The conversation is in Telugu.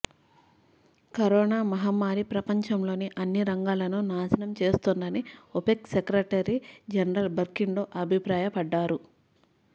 కరోనా మహమ్మారి ప్రపంచంలోని అన్ని రంగాలనూ నాశనం చేస్తోందని ఒపెక్ సెక్రటరీ జనరల్ బర్కిండో అభిప్రాయపడ్డారు